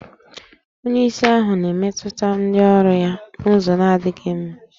Onyeisi ahụ na-emetụta ndị ọrụ ya n'ụzọ na-adịghị mma